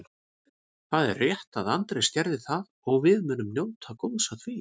Það er rétt að Andrés gerði það og við munum njóta góðs af því.